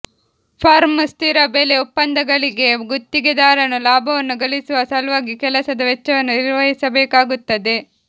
firm ಸ್ಥಿರ ಬೆಲೆ ಒಪ್ಪಂದಗಳಿಗೆ ಗುತ್ತಿಗೆದಾರನು ಲಾಭವನ್ನು ಗಳಿಸುವ ಸಲುವಾಗಿ ಕೆಲಸದ ವೆಚ್ಚವನ್ನು ನಿರ್ವಹಿಸಬೇಕಾಗುತ್ತದೆ